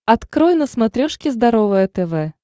открой на смотрешке здоровое тв